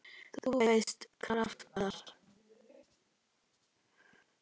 þú veist- krafta.